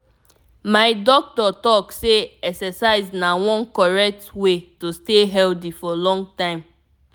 my doctor talk say exercise na one correct way to stay healthy for long time.